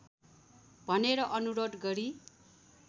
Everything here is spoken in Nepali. भनेर अनुरोध गरी